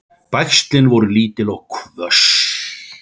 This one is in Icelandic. Bægslin eru lítil og hvöss.